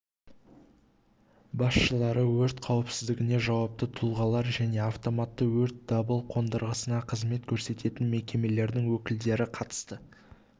басшылары өрт қауіпсіздігіне жауапты тұлғалар және автоматты өрт дабыл қондырғысына қызмет көрсететін мекемелердің өкілдері қатысты